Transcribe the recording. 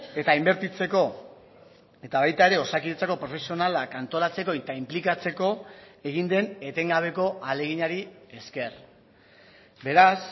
eta inbertitzeko eta baita ere osakidetzako profesionalak antolatzeko eta inplikatzeko egin den etengabeko ahaleginari esker beraz